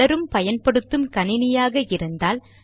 பலரும் பயன்படுத்தும் கணினியாக இருந்தால்